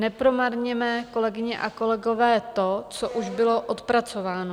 Nepromarněme, kolegyně a kolegové, to, co už bylo odpracováno.